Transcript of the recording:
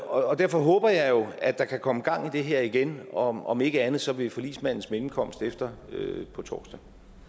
og derfor håber jeg jo at der kan komme gang i det her igen om om ikke andet så ved forligsmandens mellemkomst efter på torsdag